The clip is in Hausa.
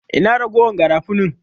Ina ragowar garafunin?